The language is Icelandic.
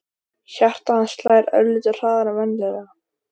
Hjarta hans slær örlitlu hraðar en venjulega.